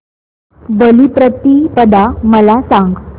बलिप्रतिपदा मला सांग